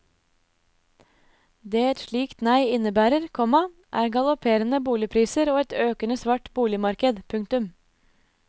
Det et slikt nei innebærer, komma er galopperende boligpriser og et økende svart boligmarked. punktum